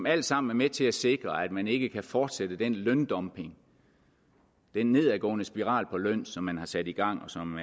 er alt sammen med til at sikre at man ikke kan fortsætte den løndumping den nedadgående spiral på løn som man har sat i gang og som